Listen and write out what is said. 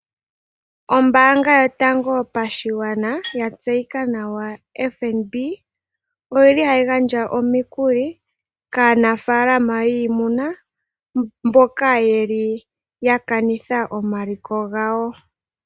Ombaanga yotango yopashigwana, ya tseyika nawa FNB ohayi gandja omikuli kaanafaalama yiimuna mboka ya kanitha omaliko gawo.